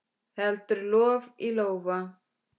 Heldur lof í lófa.